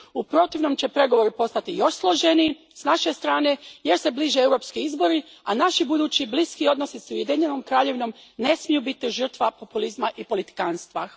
U protivnom će pregovori postati još složeniji s naše strane jer se bliže europski izbori, a naši budući bliski odnosi s Ujedinjenom Kraljevinom ne smiju biti žrtva populizma i politikanstva.